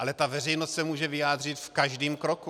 Ale ta veřejnost se může vyjádřit v každém kroku.